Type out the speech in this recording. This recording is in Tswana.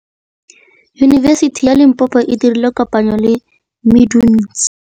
Yunibesiti ya Limpopo e dirile kopanyô le MEDUNSA.